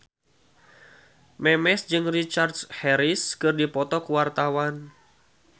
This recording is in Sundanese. Memes jeung Richard Harris keur dipoto ku wartawan